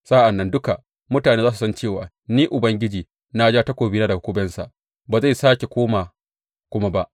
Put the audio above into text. Sa’an nan duka mutane za su san cewa Ni Ubangiji na ja takobina daga kubensa; ba zai sāke koma kuma ba.’